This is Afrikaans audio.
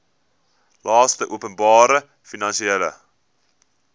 laste openbare finansiële